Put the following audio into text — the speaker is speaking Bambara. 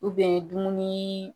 dumuni